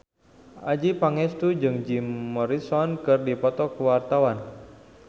Adjie Pangestu jeung Jim Morrison keur dipoto ku wartawan